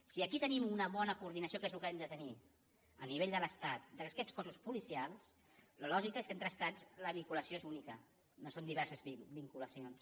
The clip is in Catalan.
si aquí tenim una bona coordinació que és el que hem de tenir a nivell de l’estat d’aquests cossos policials la lògica és que entre estats la vinculació és única no són diverses vinculacions